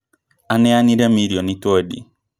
Aneanire mirioni twendĩ